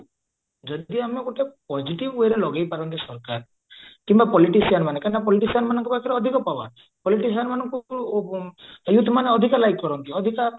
ଯଦି ଆମେ ଗୋଟେ positive wayରେ ଲଗେଇପାରନ୍ତେ ସରକାର କିମ୍ବା politician ମାନେ କାହିଁକିନା politician ମାନଙ୍କ ପାଖରେ ଅଧିକ power politician youth ମାନେ ଅଧିକା like କରନ୍ତି ଅଧିକା